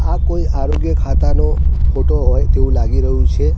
આ કોઈ આરોગ્ય ખાતાનું ફોટો હોઇ તેવુ લાગી રહ્યુ છે.